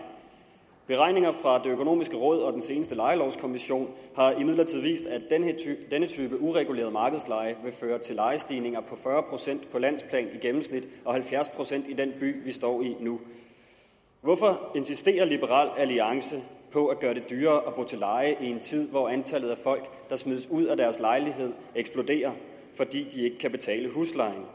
beregninger fra det økonomiske råd og den seneste lejelovskommission har imidlertid vist at denne type ureguleret markedsleje vil føre til lejestigninger på fyrre procent på landsplan i gennemsnit og halvfjerds procent i den by vi står i nu hvorfor insisterer liberal alliance på at gøre det dyrere at bo til leje i en tid hvor antallet af folk der smides ud af deres lejligheder eksploderer fordi de ikke kan betale huslejen